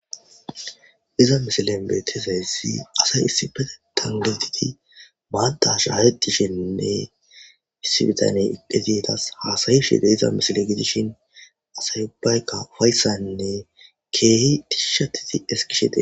Iza misile beetezayssi asay issibete tangetiti maata shaahetishenne issibitaney iqizietas haasayi shide iza misile gidishin asay ubbaykka ufayssanne keehi disishatiti eskishete.